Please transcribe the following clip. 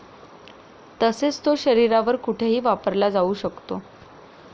तसेच तो शरीरावर कुठेही वापरला जाऊ शकतो.